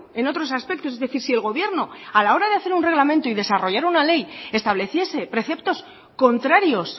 en otros aspectos es decir si el gobierno a la hora de hacer un reglamento y desarrollar una ley estableciese preceptos contrarios